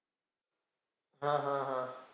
हां हां हां.